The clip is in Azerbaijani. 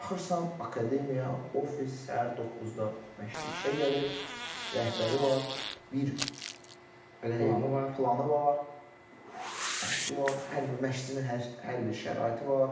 Baxırsan akademiya ofis səhər 9-da məşqçi işə gəlir, rəhbəri var, bir belə deyim planı var, məşqi var, hər bir məşqçinin hər hər bir şəraiti var.